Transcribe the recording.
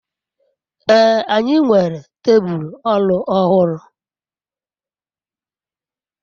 ee, anyi nwere tebul oru ohuru